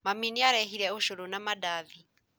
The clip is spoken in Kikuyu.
Mami nĩaraheire ũcũrũ na mandathi